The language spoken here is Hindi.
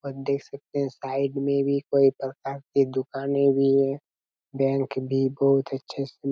और देख सकते हैं साइड में भी कई प्रकार के दुकाने भी हैं बैंक भी बहुत अच्छे से--